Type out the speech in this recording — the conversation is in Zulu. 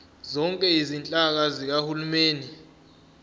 zonke izinhlaka zikahulumeni